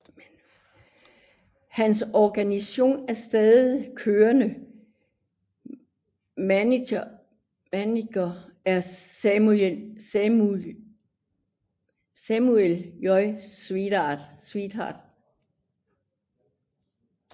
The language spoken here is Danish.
Hans originale og stadig kørende manager er Samuel J Stewart